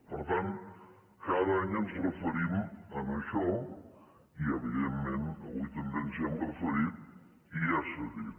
per tant cada any ens referim a això i evidentment avui també ens hi hem referit i ja s’ha dit